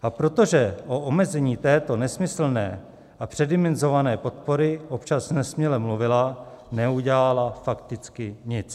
A protože o omezení této nesmyslné a předimenzované podpory občas nesměle mluvila, neudělala fakticky nic.